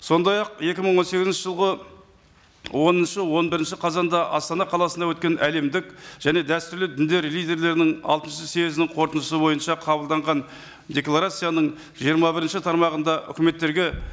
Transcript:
сондай ақ екі мың он сегізінші жылғы оныншы он бірінші қазанда астана қаласында өткен әлемдік және дәстүрлі діндер лидерлерінің алтыншы съездінің қорытындысы бойынша қабылданған декларацияның жиырма бірінші тармағында үкіметтерге